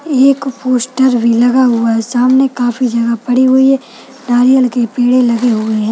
ये एक पोस्टर भी लगा हुआ है सामने काफी जगह पड़ी हुई है नारियल के पेड़े लगे हुए है।